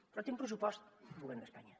però té un pressupost el govern d’espanya